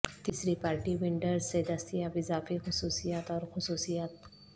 تیسری party vendors سے دستیاب اضافی خصوصیات اور خصوصیات